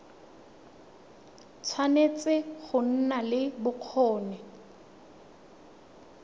tshwanetse go nna le bokgoni